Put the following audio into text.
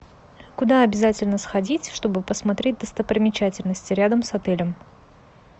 куда обязательно сходить чтобы посмотреть достопримечательности рядом с отелем